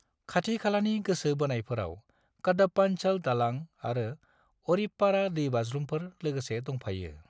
खाथि-खालानि गोसो बोनायफोराव कडप्पांचल दालां आरो अरिप्पारा दैबाज्रुमफोर लोगोसे दंफायो।